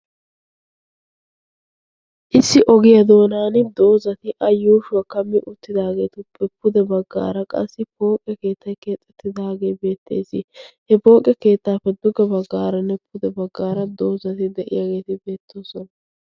issi ogiyaa doonan doozati a yuushuwaa kammi uttidaageetuppe pude baggaara qassi pooqqe keettai keexxettidaagee beettees. he poonqqe keettaappe dugga baggaaranne pude baggaara doozati de'iyaageeti beettoosona.